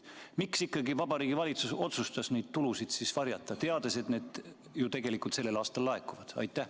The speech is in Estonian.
Miks Vabariigi Valitsus otsustas neid tulusid varjata, teades, et need ju tegelikult sellel aastal laekuvad?